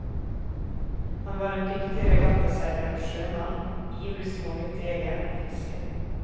Han var en dyktig regattaseiler og sjømann, ivrig småviltjeger og fisker.